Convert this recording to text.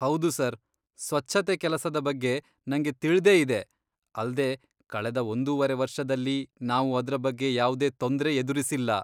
ಹೌದು ಸರ್, ಸ್ವಚ್ಛತೆ ಕೆಲಸದ ಬಗ್ಗೆ ನಂಗೆ ತಿಳ್ದೇ ಇದೆ, ಅಲ್ದೇ ಕಳೆದ ಒಂದೂ ವರೆ ವರ್ಷದಲ್ಲಿ ನಾವು ಅದ್ರ ಬಗ್ಗೆ ಯಾವ್ದೇ ತೊಂದ್ರೆ ಎದುರಿಸಿಲ್ಲ.